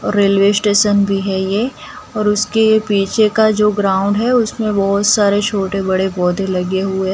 और railway station भी है ये और उसके पीछे का जो ग्राउंड है उसमें बहोत सारे छोटे बड़े पौधे लगे हुए--